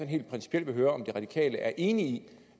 helt principielt vil høre om de radikale er enig i